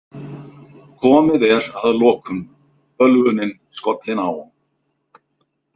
Komið er að lokum, bölvunin skollin á.